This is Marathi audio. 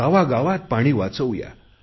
गावागावात पाणी वाचवू या